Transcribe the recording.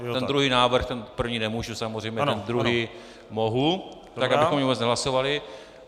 Ten druhý návrh, ten první nemůžu, samozřejmě, ten druhý mohu, tak, abychom vůbec nehlasovali.